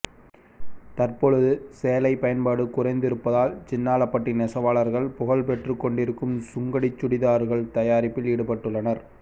தற்பொழுது சேலை பயன்பாடு குறைத்து இருப்பதால் சின்னாளப்பட்டி நெசவாளர்கள் புகழ் பெற்றுக் கொண்டிருக்கும் சுங்குடி சுடிதர்கள் தயாரிப்பில் ஈடுபட்டுள்ளனர்